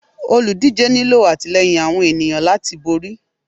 olúdijé nilọ atilẹyín tí awọn eniyan latí borí